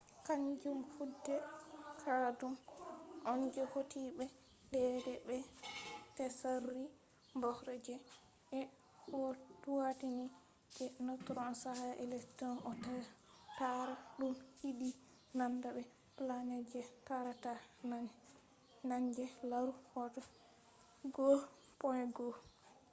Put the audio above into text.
kanjum hude caɗɗum on je hauti be daidai be tsari bohr je ɓe hoitini je neutron caka electron ɗo taara ɗum yiɗi nanda be planet je taarata naange -laaru hoto 1.1